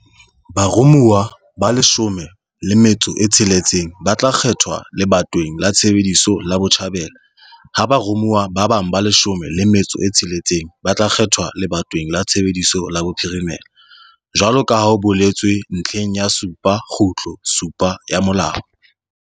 Baromuwa ba leshome le metso e tsheletseng, ba tla kgethwa lebatoweng la tshebetso la Botjhabela, ha baromuwa ba bang ba leshome le metso e tsheletseng ba tla kgethwa lebatoweng la tshebetso la Bophirimela jwalo ka ha ho boletswe ntlheng ya 7.7 ya molao.